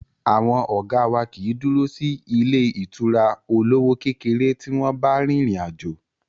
Àwọn ọ̀gá wá kìí dúró sí ilé ìtura olówó kékeré tí wọ́n bá rin ìrìn àjò.